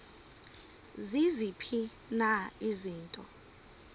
ziziphi na izinto